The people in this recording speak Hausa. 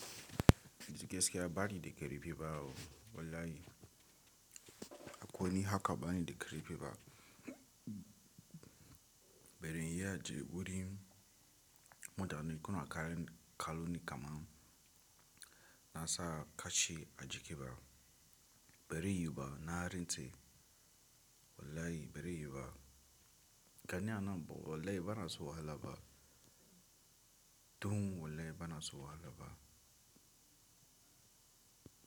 Da gaskiya ba ni da ƙarfi ba o wallahi. Ko ni haka bani da ƙarfi ba. Bare yiya ji wuri, mutane kuna kalu ni kaman na sa kashi a jiki ba. Bare yuwu ba na rantse, wallahi bare yuwu ba. Gani anan, wallahi bana so wahala ba. Dun, wallahi bana so wahala ba.